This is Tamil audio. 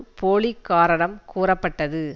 போலி காரணம் கூறப்பட்டது